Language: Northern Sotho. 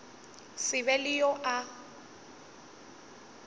se be le yo a